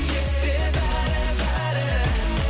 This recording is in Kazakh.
есте бәрі бәрі